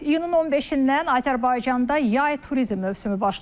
İyunun 15-dən Azərbaycanda yay turizm mövsümü başlayıb.